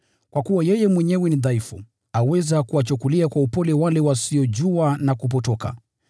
Kwa kuwa yeye mwenyewe ni dhaifu, aweza kuwachukulia kwa upole wale wasiojua na kupotoka.